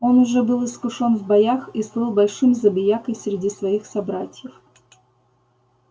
он уже был искушён в боях и слыл большим забиякой среди своих собратьев